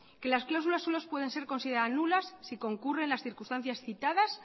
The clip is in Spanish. que las cláusulas suelo pueden ser consideradas nulas si concurren las circunstancias citadas